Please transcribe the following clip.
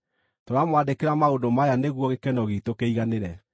Tũramwandĩkĩra maũndũ maya nĩguo gĩkeno giitũ kĩiganĩre.